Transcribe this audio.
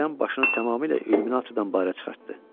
Birdən başını tamamilə illüminatordan bayıra çıxartdı.